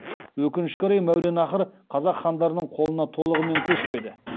өкінішке орай мәуераннахр қазақ хандарының қолына толығымен көшпеді